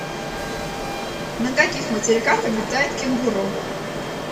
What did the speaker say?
на каких материках обитает кенгуру